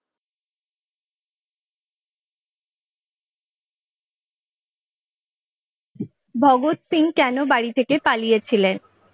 ভগৎ সিং কেন বাড়ি থেকে পালিয়ে ছিলেন?